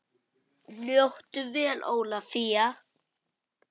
Njóttu vel Ólafía!